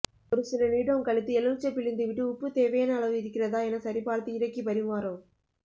ஒரு சில நிமிடம் கழித்து எலுமிச்சை பிழிந்துவிட்டு உப்பு தேவையான அளவு இருக்கிறதா என சரிபார்த்து இறக்கி பரிமாறவும்